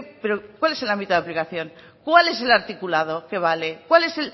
pero cuál es el ámbito de aplicación cuál es el articulado que vale cuál es